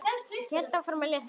Ég hélt áfram að lesa.